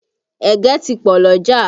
Ẹ̀gẹ́ ti pọ lọ́jà